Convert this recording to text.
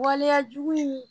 Waleyajugu in